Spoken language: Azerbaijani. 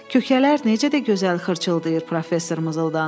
Köçələr necə də gözəl xırçıldayır, professor mızıldandı.